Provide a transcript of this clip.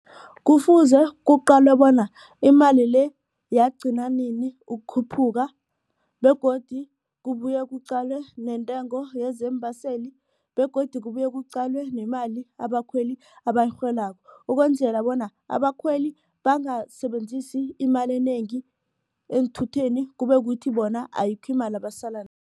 Kufuze kuqalwe bona imali le yagcina nini ukukhuphuka begodu kubuye kuqalwe nentengo yezeembaseli begodu kubuye kuqalwe nemali abakhweli abayirholako. Ukwenzela bona abakhweli bangasebenzisi imali enengi eenthutheni kube kuthi bona ayikho imali abasala